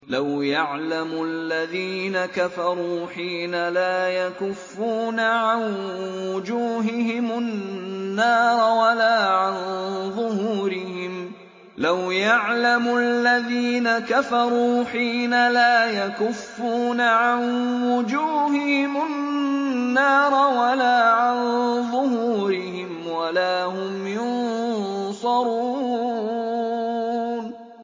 لَوْ يَعْلَمُ الَّذِينَ كَفَرُوا حِينَ لَا يَكُفُّونَ عَن وُجُوهِهِمُ النَّارَ وَلَا عَن ظُهُورِهِمْ وَلَا هُمْ يُنصَرُونَ